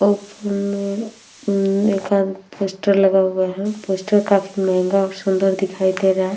ऊपर में उम पोस्टर लगा हुआ है। पोस्टर काफी महंगा और सुन्दर दिखाई दे रहा है।